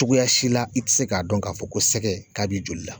Cogoya si la i te se ka dɔn ka fɔ ko sɛgɛ, ka b'i joli la.